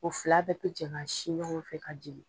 O fila bɛɛ bɛ jɛn ka sin ɲɔgɔn fɛ ka jeni.